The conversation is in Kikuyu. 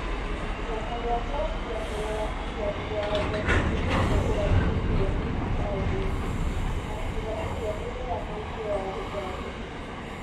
Kĩama nĩ gĩkwambia kũrora Kĩambi Watho kĩrĩa kĩrũgamĩrĩirũo nĩ CIOC na njĩra ĩrĩa ĩheanĩtwo ya gũcabithio.